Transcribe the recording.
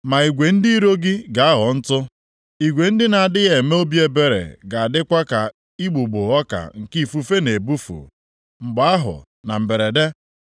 Ma igwe ndị iro gị + 29:5 Ya bụ, ndị ala ọzọ na-emegide gị ga-aghọ ntụ, igwe ndị na-adịghị eme obi ebere ga-adịkwa ka igbugbo ọka nke ifufe na-ebufu. Mgbe ahụ, na mberede,